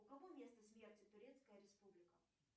у кого место смерти турецкая республика